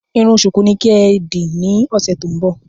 Irun ṣùkú ni kí ẹ dì ní ọ̀sẹ̀ tó ń bọ̀!